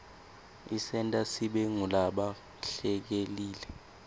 isenta sibe ngulaba hlelekile